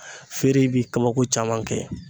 Feere bi kabako caman kɛ.